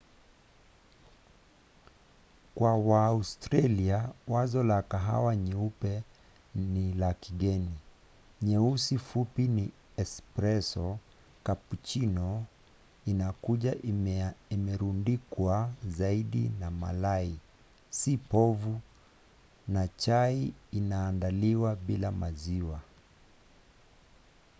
kwa waaustralia wazo la kahawa ‘nyeupe’ ni la kigeni. nyeusi fupi ni ’espresso’ cappuccino inakuja imerundikwa zaidi na malai si povu na chai inaandaliwa bila maziwa